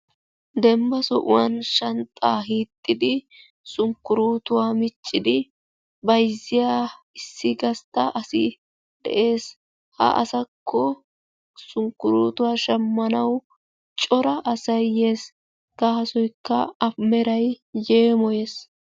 Dembba sohuwan shanxxaa hixxidi shunkkurutuwa bayzziya asay de'ees. ha asakko shunkkurutuwa shammanaw cora asay yees. gaasoykka a meray yeemoyees.